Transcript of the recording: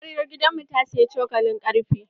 Amaryar gidan mu ta siyi cokalin ƙarfe.